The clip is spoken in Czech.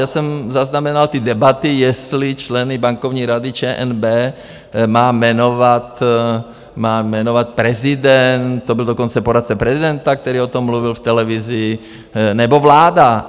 Já jsem zaznamenal ty debaty, jestli členy Bankovní rady ČNB má jmenovat prezident, to byl dokonce poradce prezidenta, který o tom mluvil v televizi, nebo vláda.